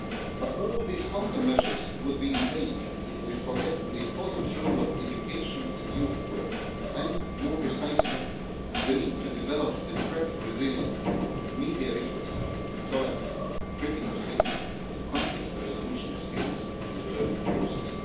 But all these countermeasures would be in vain if we forget the important role of education and youth work, and more precisely the need to develop democratic resilience, media literacy, tolerance, critical thinking and conflict resolution skills in the learning process.